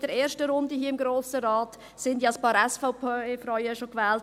In der ersten Runde hier im Grossen Rat wurden schon ein paar SVP-Frauen gewählt.